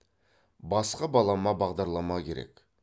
басқа балама бағдарлама керек